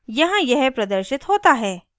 यहाँ यह प्रदर्शित होता है: